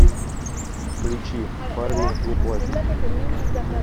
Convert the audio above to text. включи парни не плачут